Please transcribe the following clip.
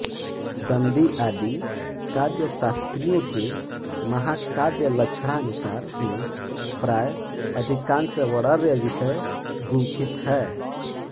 दंडी आदि काव्यशास्त्रियों के महाकाव्यलक्षणानुसार ही प्राय अधिकांश वर्ण्यविषय गुंफित हैं